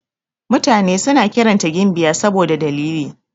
Mutane suna kiranta gimbiya saboda dalili.